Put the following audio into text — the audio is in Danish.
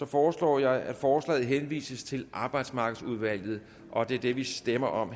foreslår jeg at forslaget henvises til arbejdsmarkedsudvalget og det er det vi stemmer om